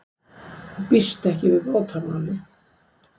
Býst ekki við bótamáli